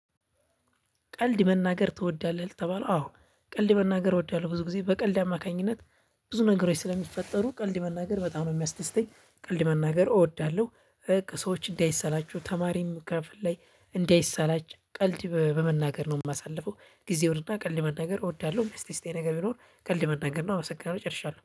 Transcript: ቀልድ መናገር ትወዳለህ? ለተባለው አዎ ቀልድ መናገር እወዳለሁ ብዙ ጊዜ በቀልድ አማካኝነት ብዙ ነገሮች ስለሚፈጠሩ ቀልድ መናገር በጣም ነው የሚያስደስተኝ። ቀልድ መናገር እወዳለሁ። ሰወችን እንዳይሰላቹ ተማሪም ክፍል ላይ እንዳይሳላች ቀልድ በመናገር ነው የማሳልፈው። ጊዜ ወርድና ቀልድ መናገር እወዳለሁ ስቲስቴ እስቲ ነገር ቢኖር ከልድ መናገር ነው አበሰጋረ ጨርሻለሁ